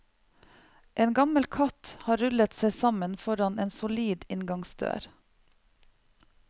En gammel katt har rullet seg sammen foran en solid inngangsdør.